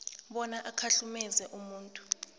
bona ukhahlumeze umuntu